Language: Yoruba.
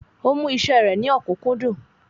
Ó mú iṣẹ́ rẹ̀ ní ọ̀kúnkúndùn